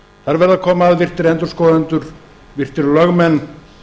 þar verða að koma að virtir endurskoðendur virtir lögmenn